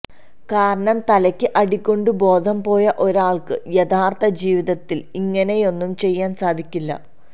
കാരണം തലയ്ക്ക് അടികൊണ്ടു ബോധം പോയ ഒരാൾക്ക് യഥാർഥ ജീവിതത്തിൽ ഇങ്ങനെയൊന്നും ചെയ്യാൻ സാധിക്കില്ല